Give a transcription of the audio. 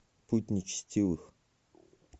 путь нечестивых